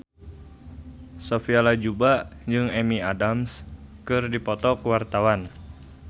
Sophia Latjuba jeung Amy Adams keur dipoto ku wartawan